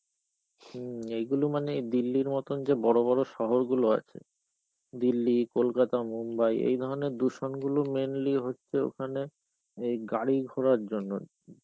হম এইগুলো মানে দিল্লির মতো যে বড় বড় শহরগুলো আছে, দিল্লি, কলকাতা, মুম্বাই এইধরনের দূষণ গুলো mainly হচ্ছে ওখানে এই গাড়িঘোড়ার জন্যে.